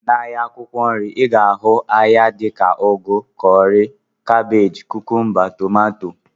N'ahịa akwụkwọ nri, I ga-ahụ ahịa dị ka ugu, kọrị, kabej, kukumba, tomato, dg